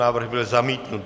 Návrh byl zamítnut.